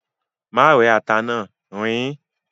Má rẹ́ ata náà, riín.